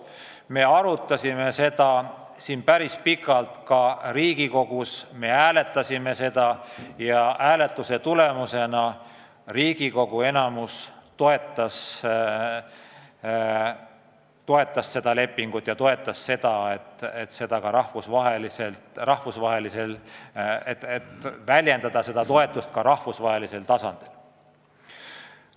Me arutasime seda päris pikalt siin Riigikogus, me hääletasime seda ja hääletuse tulemusena Riigikogu enamik toetas seda lepingut ja toetas ka seda, et väljendada seda toetust rahvusvahelisel tasandil.